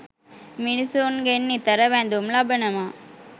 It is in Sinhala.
මිනිසුන්ගෙන් නිතර වැඳුම් ලබනවා.